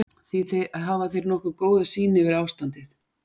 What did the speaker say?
Þeir hafa því nokkuð góða sýn yfir ástandið.